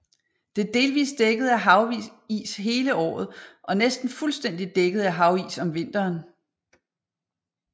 Det er delvist dækket af havis hele året og næsten fuldstændigt dækket af havis om vinteren